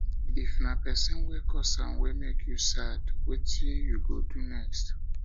if na pesin wey cause am wey mek yu sad wetin yu um go um do next